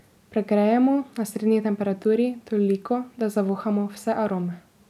Pregrejemo, na srednji temperaturi, toliko, da zavohamo vse arome.